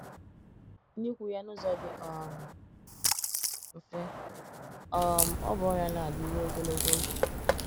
N’ikwu ya n’ụzọ dị um mfe, um ọ bụ ọrịa na - adị rụo ogologo oge